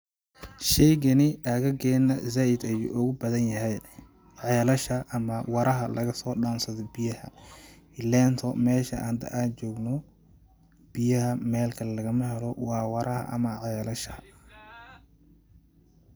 Sheygani aagageena zaaid ayuu ugu badan yahay ,ceelasha ama waraha lagasoo dhaansado biyaha ,ileento meesha hada aan joogno biyaha meel kale lagama helo waa waraha ama celasha .